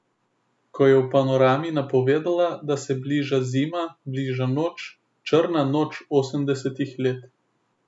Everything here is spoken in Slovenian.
Ko je v Panorami napovedovala, da se bliža zima, bliža noč, črna noč osemdesetih let.